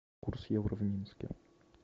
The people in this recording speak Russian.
курс евро в минске